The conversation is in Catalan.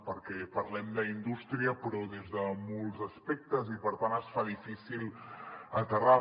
perquè parlem d’indústria però des de molts aspectes i per tant es fa difícil aterrar